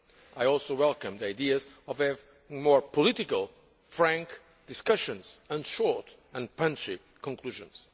I also welcome the ideas of having more political, frank discussions and short and punchy conclusions.